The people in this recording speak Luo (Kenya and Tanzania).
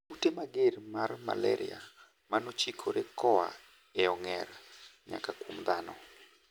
Kute mager mar malaria 'manochikore' koa e ong'er nyaka kuom dhano.